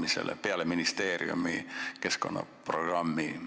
mis peale ministeeriumi keskkonnaprogrammi läheb jagamisele, väheneb poole võrra?